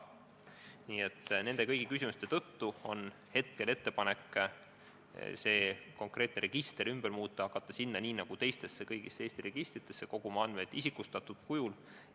Nii et kõigi nende küsimuste tõttu on ettepanek seda konkreetset registrit muuta, hakata sinna nii nagu kõigisse teistesse Eesti registritesse koguma andmeid isikustatud kujul.